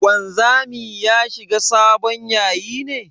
Wanzami ya shiga sabon yayi ne?